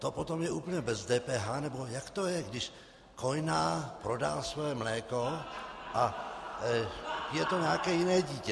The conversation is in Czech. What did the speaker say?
To potom je úplně bez DPH - nebo jak to je, když kojná prodá svoje mléko a je to nějaké jiné dítě?